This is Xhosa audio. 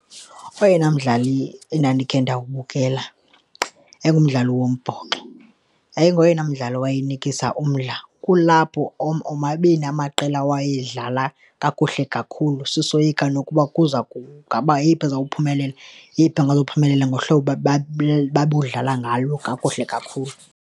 Oyena mdlali endandikhe ndawubukela yagumdlali wombhoxo yayingoyena mdlalo owayenikisa umdla. Kulapho omabini amaqela awayedlala kakuhle kakhulu, sisoyika nokuba kuza ngaba yeyiphi ezawuphumelela, yeyiphi angizuphumelela ngohlobo babudlala ngalo kakuhle kakhulu.